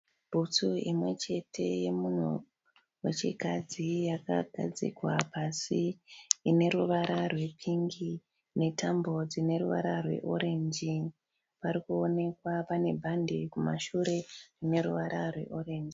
Bhutsu imwe chete yemunhu wechikadzi yakagadzikwa pasi ine ruvara rwepingi netambo dzine ruvara rweorenji. Parikuonekwa pane bhande kumashure rine ruvara rweorenji.